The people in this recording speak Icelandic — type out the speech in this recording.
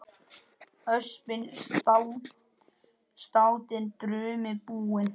Öspin státin brumi búin.